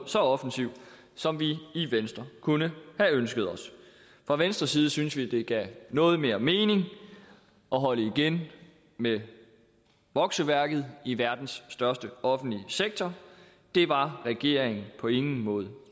så offensiv som vi i venstre kunne have ønsket os fra venstres side syntes vi det gav noget mere mening at holde igen med vokseværket i verdens største offentlige sektor det var regeringen på ingen måde